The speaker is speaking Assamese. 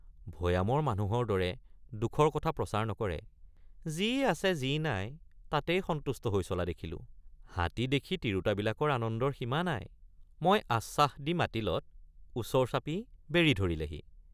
ভৈয়ামৰ মানুহৰ দৰে দুখৰ কথা প্ৰচাৰ নকৰে ৷ যি আছে যি নাই তাতেই সন্তুষ্ট হৈ চলা দেখিলোঁ ৷ হাতী দেখি তিৰোতাবিলাকৰ আনন্দৰ সীম৷ নাই ৷ মই আশ্বাস দি মাতিলত ওচৰ চাপি বেঢ়ি ধৰিলেহি ।